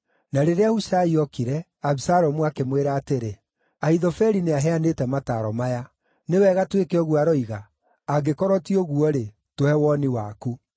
Na rĩrĩa Hushai ookire, Abisalomu akĩmwĩra atĩrĩ, “Ahithofeli nĩaheanĩte mataaro maya. Nĩ wega twĩke ũguo aroiga? Angĩkorwo ti ũguo-rĩ, tũhe woni waku.”